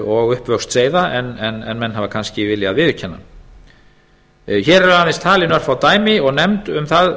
og uppvöxt þeirra en menn hafa kannski viljað viðurkenna hér eru aðeins talin örfá dæmi og nefnd